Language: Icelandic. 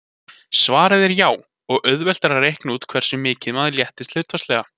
Svarið er já, og auðvelt er að reikna út hversu mikið maður léttist hlutfallslega.